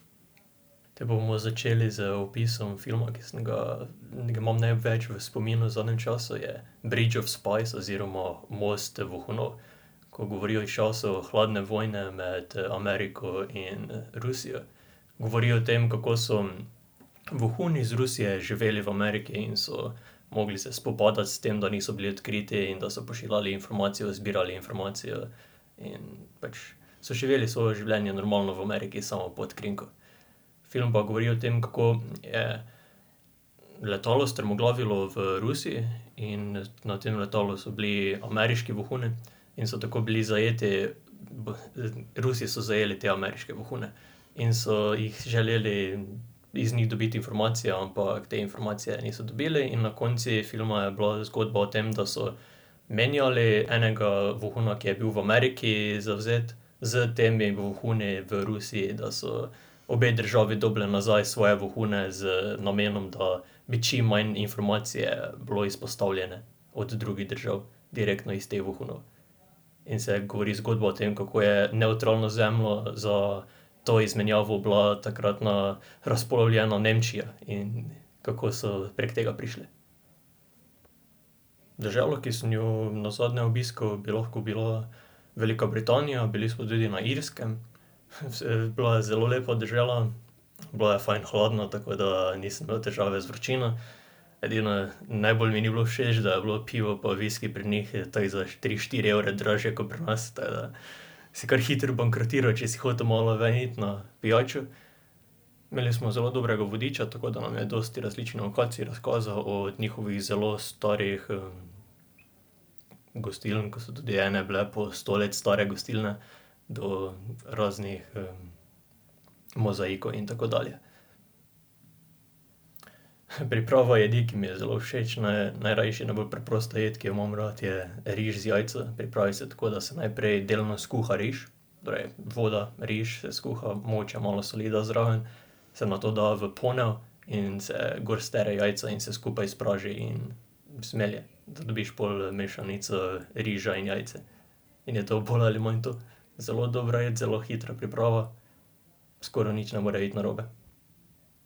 Te bomo začeli z opisom filma, ki sem ga ga imam največ v spominu v zadnjem času, je Bridge of Spies oziroma Most vohunov, ko govori iz časov hladne vojne med Ameriko in Rusijo. Govori o tem, kako so vohuni iz Rusije živeli v Ameriki in so mogli se spopadati s tem, da niso bili odkriti in da so pošiljali informacije, zbirali informacije in pač so živeli svoje življenje normalno v Ameriki, samo pod krinko. Film pa govori o tem, kako je letalo strmoglavilo v Rusiji in na tem letalu so bili ameriški vohuni. In so tako bili zajeti, Rusi so zajeli te ameriške vohune. In so jih želeli iz njih dobiti informacije, ampak te informacije niso dobili, in na koncu filma je bila zgodba o tem, da so menjali enega vohuna, ki je bil v Ameriki zavzet, s temi vohuni v Rusiji, da so obe državi dobile nazaj svoje vohune z namenom, da bi čim manj informacije bilo izpostavljene od drugih držav direktno iz teh vohunov. In se govori zgodba o tem, kako je nevtralna zemlja za to izmenjavo bila takratna razpolovljena Nemčija. In kako so prek tega prišli. Država, ki sem jo nazadnje obiskal, bi lahko bila Velika Britanija. Bili smo tudi na Irskem. Bila je zelo lepa dežela. Bilo je fajn hladno, tako da nisem imel težave z vročino, edino najbolj mi ni bilo všeč, da je bilo pivo pa viski pri njih tako za tri, štiri evre dražje ko pri nas, tako da si kar hitro bankrotiral, če si hotel malo ven iti na pijačo. Imeli smo zelo dobrega vodiča, tako da nam je dosti različne lokacije razkazal, od njihovih zelo starih, gostiln, ko so tudi ene bile po sto let stare gostilne, do raznih, mozaikov in tako dalje. Priprava jedi, ki mi je zelo všeč. najrajši, najbolj preprosta jed, ki jo imam rad, je riž z jajci. Pripravi se tako, da se najprej delno skuha riž, torej, voda, riž se skuha, mogoče malo soli daš zraven, se nato da v ponev in se gor stre jajca in se skupaj spraži in zmelje, da dobiš pol mešanico riža in jajce. In je to bolj ali manj to. Zelo dobra jed, zelo hitra priprava, skoraj nič ne more iti narobe.